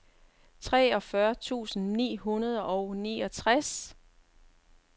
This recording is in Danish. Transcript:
treogfyrre tusind ni hundrede og niogtres